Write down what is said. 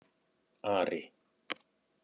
Ari